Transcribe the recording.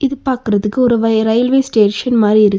பாக்குறதுக்கு ஒரு வை ரெயில்வே ஸ்டேஷன் மாரி இருக்கு.